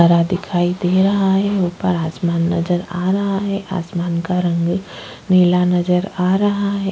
हरा दिखाई दे रहा है ऊपर आसमान नजर आ रहा है आसमान का रंग नीला नजर आ रहा है।